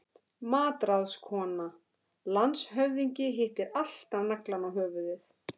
MATRÁÐSKONA: Landshöfðingi hittir alltaf naglann á höfuðið.